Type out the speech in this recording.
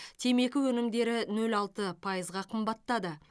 темекі өнімдері нөл алты пайызға қымбаттады